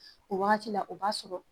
O wagati la o b'a sɔrɔ